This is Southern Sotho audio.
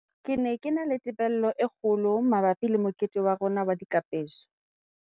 "Ke ne ke na le tebello e kgo lo mabapi le mokete wa rona wa dikapeso."